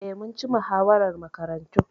Eh, mun ci muhawarar Makarantun.